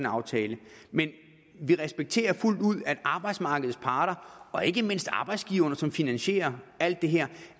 aftale men vi respekterer fuldt ud at arbejdsmarkedets parter og ikke mindst arbejdsgiverne som finansierer alt det her